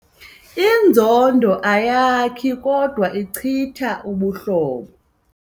Inzondo ayakhi kodwa ichitha ubuhlobo.